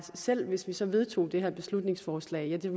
selv hvis vi så vedtog det her beslutningsforslag ville det